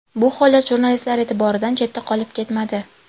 Bu holat jurnalistlar e’tiboridan chetda qolib ketmadi.